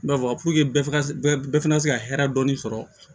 bɛɛ ka bɛɛ fana ka se ka hɛrɛ dɔɔnin sɔrɔ